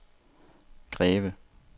Greve